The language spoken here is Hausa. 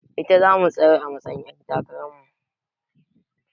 Ita zamu tsayar a matsa yin ƴar takarar mu